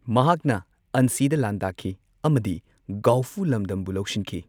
ꯃꯍꯥꯛꯅ ꯑꯟꯁꯤꯗ ꯂꯥꯟꯗꯥꯈꯤ ꯑꯃꯗꯤ ꯒꯥꯎꯐꯨ ꯂꯝꯗꯝꯕꯨ ꯂꯧꯁꯤꯟꯈꯤ꯫